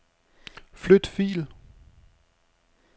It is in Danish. Flyt fil.